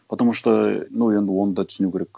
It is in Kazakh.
потому что ну енді оны да түсіну керек